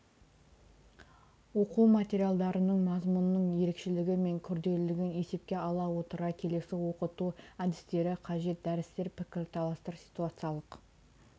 оқу материалдарының мазмұнының ерекшелігі мен күрделілігін есепке ала отыра келесі оқыту әдістері қажет дәрістер пікірталастар ситуациялық